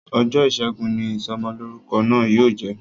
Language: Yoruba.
Ọjọ́ ìṣẹ́gun ni Ìsọmọlọ́rúkọ náà yóò jẹ